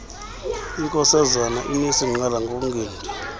inkosazana inesingqala ngokungendi